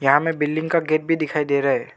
यहां हमें बिल्डिंग का गेट भी दिखाई दे रहा है।